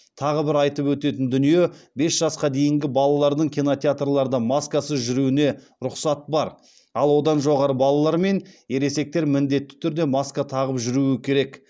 тағы бір айтып өтетін дүние бес жасқа дейінгі балалардың кинотеатрларда маскасыз жүруіне рұқсат бар ал одан жоғары балалар мен ересектер міндетті түрде маска тағып жүруі керек